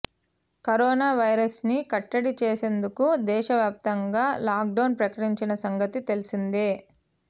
corona వైరస్ను కట్టడి చేసేందుకు దేశవ్యాప్తంగా లాక్డౌన్ ప్రకటించిన సంగతి తెలిసిందే